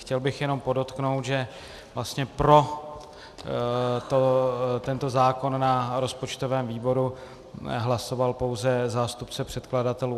Chtěl bych jenom podotknout, že vlastně pro tento zákon na rozpočtovém výboru hlasoval pouze zástupce předkladatelů.